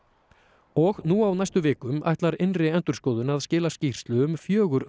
og nú á næstu vikum ætlar innri endurskoðun að skila skýrslu um fjögur